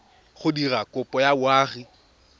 go dira kopo ya boagi